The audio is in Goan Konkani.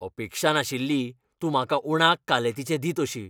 अपेक्षा नाशिल्ली, तूं म्हाका उणाक कालेतीचें दित अशी